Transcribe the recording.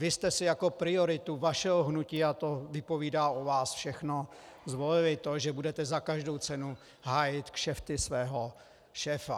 Vy jste si jako prioritu vašeho hnutí, a to vypovídá o vás všechno, zvolili to, že budete za každou cenu hájit kšefty svého šéfa.